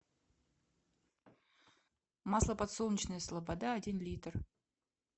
масло подсолнечное слобода один литр